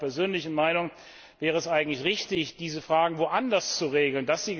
Nach meiner persönlichen Meinung wäre es vielmehr richtig, diese Fragen woanders zu regeln.